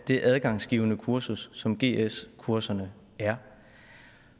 det adgangsgivende kursus som gs kurserne er